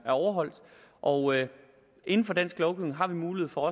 overholdt og inden for dansk lovgivning har vi mulighed for